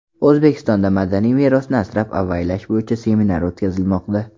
O‘zbekistonda madaniy merosni asrab-avaylash bo‘yicha seminar o‘tkazilmoqda.